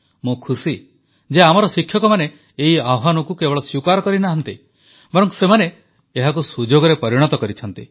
ମୁଁ ଖୁସି ଯେ ଆମର ଶିକ୍ଷକମାନେ ଏହି ଆହ୍ୱାନକୁ କେବଳ ସ୍ୱୀକାର କରିନାହାନ୍ତି ବରଂ ସେମାନେ ଏହାକୁ ସୁଯୋଗରେ ପରିଣତ କରିଛନ୍ତି